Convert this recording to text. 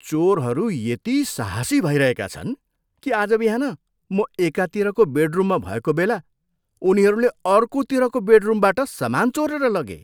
चोरहरू यति साहसी भइरहेका छन् कि आज बिहान म एकातिरको बेडरुममा भएको बेला उनीहरूले अर्कोतिरको बेडरुमबाट सामान चोरेर लगे।